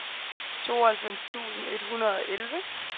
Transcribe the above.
tooghalvfems tusind et hundrede og elleve